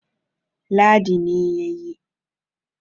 Ladi ne ya yi